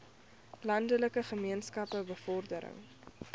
landelike gemeenskappe bevordering